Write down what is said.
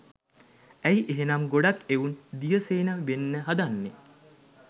ඇයි එහෙනම් ගොඩක් එවුන් දියසේන වෙන්න හදන්නේ